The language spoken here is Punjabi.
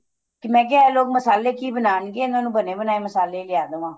ਤੇ ਮੈਂ ਕਿਆ ਇਹ ਲੋਕ ਮਸਾਲੇ ਕੀ ਬਣਾਨ ਗੇ ਇਹਨਾ ਨੂੰ ਬਣੇ ਬਣਾਏ ਮਸਾਲੇ ਈ ਲਿਆ ਦੇਵਾ